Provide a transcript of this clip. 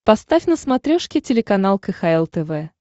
поставь на смотрешке телеканал кхл тв